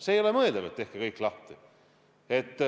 See ei ole mõeldav, et tehke kõik lahti.